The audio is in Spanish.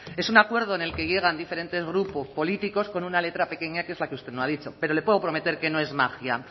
es un acuerdo en el que llegan diferentes grupos políticos con una letra pequeña que es la que usted no ha dicho pero le puedo prometer que no es magia